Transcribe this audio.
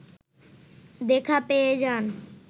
দেখা পেয়ে যান